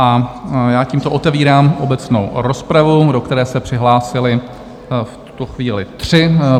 A já tímto otevírám obecnou rozpravu, do které se přihlásili v tuto chvíli tři.